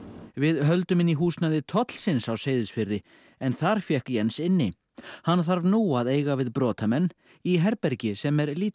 við höldum inn í húsnæði tollsins á Seyðisfirði en þar fékk Jens inni hann þarf nú að eiga við brotamenn í herbergi sem er lítið